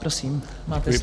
Prosím, máte slovo.